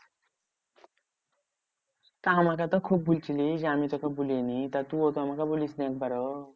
তা আমাকে তো খুব বলছিলিস যে আমি তোকে বলিনি? তা তুও তো আমাকে বলিস নি একবারও?